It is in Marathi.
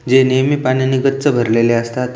जे नेहमी पाण्याने गच्च भरलेले असतात.